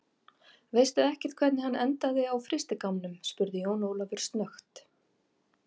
Veistu ekkert hvernig hann endaði á frystigámnum, spurði Jón Ólafur snöggt.